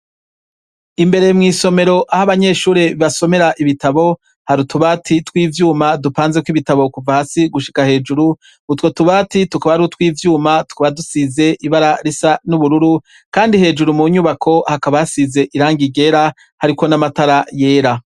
Imber mw'isomero ah'abanyeshure basomera ibitabo, har'utubati tw'ivyuma dupanzeko ibitabo kuva hasi gushika hejuru, utwo tubati tukaba ar'utwivyuma tukaba dusize ibara risa nubururu Kandi hejuru mu nyubako basize irangi ryera, hariko n'amatara yera.